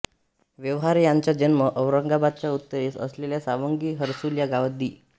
व्यवहारे यांचा जन्म औरंगाबादच्या उत्तरेस असलेल्या सावंगी हर्सुल या गावात दि